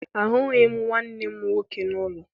Ahụghị m nwanne m nwoke n'ụlọ